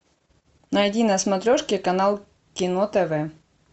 найди на смотрешке канал кино тв